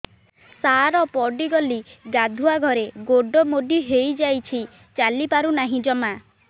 ସାର ପଡ଼ିଗଲି ଗାଧୁଆଘରେ ଗୋଡ ମୋଡି ହେଇଯାଇଛି ଚାଲିପାରୁ ନାହିଁ ଜମା